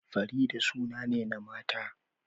Farida suna ne na mata